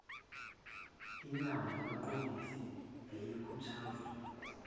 inyango yabaqondisi yayikhuthazwa